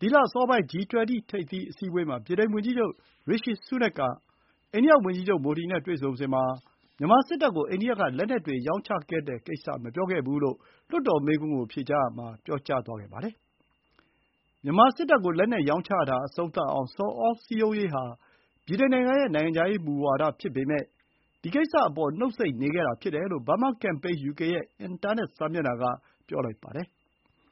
ဒီလအစောပိုင်း G 20 ထိပ်သီး အစည်းအဝေးမှာ အိန္ဒိယဝန်ကြီးချုပ် မိုဒီနဲ့ တွေ့ဆုံစဥ် ဗြိတိန်ဝန်ကြီးချုပ် ရီရှီဆူးနက်ခ် Rishi Sunak ဟာ မြန်မာစစ်တပ်ကို အိန္ဒိယက လက်နက်တွေ ရောင်းချခဲ့တဲ့ကိစ္စ မပြောဖြစ်ခဲ့ဘူးလို့ လွှတ်တော်မေးခွန်းကို ယူကေအစိုးရက ပြန်လည် ဖြေကြားခဲ့ပါတယ်။ မြန်မာစစ်တပ်ကို လက်နက်ရောင်းချတာ အဆုံးသတ်အောင် ဆော်ဩစည်းရုံးရေးဟာ ဗြိတိန်ရဲ့ နိုင်ငံခြားရေးမူဝါဒ ဖြစ်ပေမယ့် ဒီကိစ္စအပေါ် နှုတ်ဆိတ်နေခဲ့တာ ဖြစ်တယ်လို့ ဘားမားကမ်ပိန်း ယူကေရဲ့ အင်တာနက် စာမျက်နှာက ဝေဖန်ပြောဆိုပါတယ်